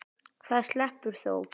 Það sleppur þó.